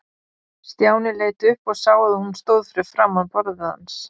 Stjáni leit upp og sá að hún stóð fyrir framan borðið hans.